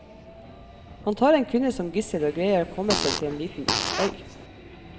Han tar en kvinne som gissel og greier å komme seg til en liten øy.